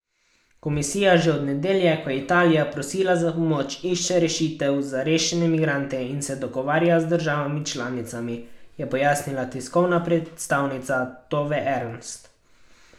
Komisija že od nedelje, ko je Italija prosila za pomoč, išče rešitev za rešene migrante in se dogovarja z državami članicami, je pojasnila tiskovna predstavnica Tove Ernst.